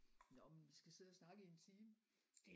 Nåh men vi skal sidde og snakke i en time